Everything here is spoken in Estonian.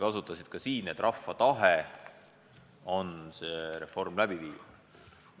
Sa ütlesid ka siin, et rahva tahe on see reform läbi viia.